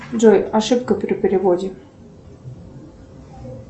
джой ошибка при переводе